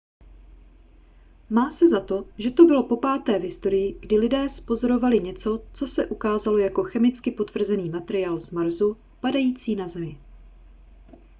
má se za to že to bylo popáté v historii kdy lidé zpozorovali něco co se ukázalo jako chemicky potvrzený materiál z marsu padající na zemi